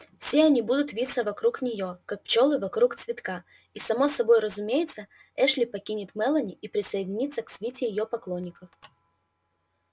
все они будут виться вокруг нее как пчелы вокруг цветка и само собой разумеется эшли покинет мелани и присоединится к свите её поклонников